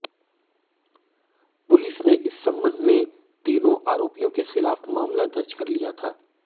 police ने इस संबंध में तीनों आरोपियों के खिलाफ मामला दर्ज कर लिया था